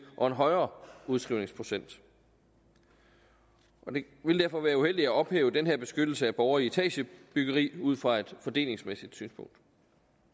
og en højere udskrivningsprocent det vil derfor være uheldigt at ophæve den her beskyttelse af borgere i etagebyggeri ud fra et fordelingsmæssigt synspunkt